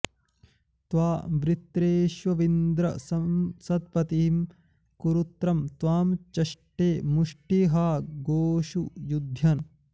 त्वां वृ॒त्रेष्वि॑न्द्र॒ सत्प॑तिं॒ तरु॑त्रं॒ त्वां च॑ष्टे मुष्टि॒हा गोषु॒ युध्य॑न्